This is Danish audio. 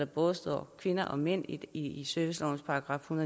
både kvinder og mænd i i servicelovens § en